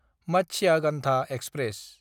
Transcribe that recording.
Matsyagandha express